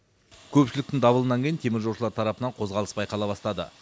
көпшіліктің дабылынан кейін теміржолшылар тарапынан қозғалыс байқала бастады